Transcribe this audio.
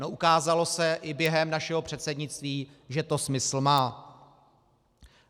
No, ukázalo se i během našeho předsednictví, že to smysl má.